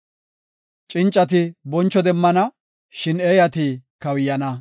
Cincati boncho demmana; shin eeyati kawuyana.